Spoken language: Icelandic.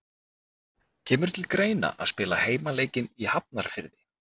Kemur til greina að spila heimaleikinn í Hafnarfirði?